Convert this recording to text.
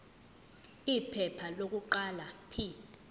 iphepha lokuqala p